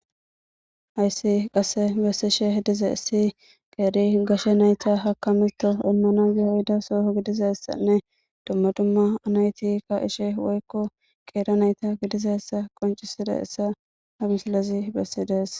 hayssi qasse bessishe hedize issi qeeri gashe nayta hakamito olnana geyohida soo gidizassanne dumma dumma anayti ka ishe woykko qeera nayta gidizassa qoncisida essa hamisilazi bessidees